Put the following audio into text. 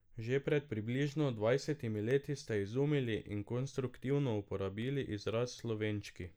Že pred približno dvajsetimi leti ste izumili in konstruktivno uporabili izraz Slovenčki.